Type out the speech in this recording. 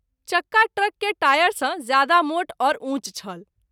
चक्का ट्रक के टायर सँ ज़्यादा मोट और उँच छल।